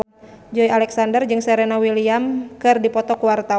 Joey Alexander jeung Serena Williams keur dipoto ku wartawan